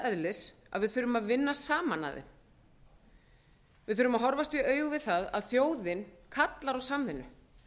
eðlis að við þurfum að vinna saman að þeim við þurfum að horfast í augu við það að þjóðin kallar á samvinnu